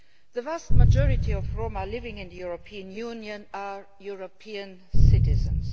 The vast majority of Roma living in the European Union are European citizens.